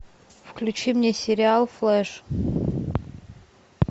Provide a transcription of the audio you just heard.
включи мне сериал флэш